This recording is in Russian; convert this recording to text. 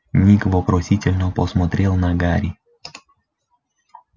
ник вопросительно посмотрел на гарри